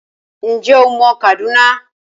Ǹjẹ́ o mọ Kaduna?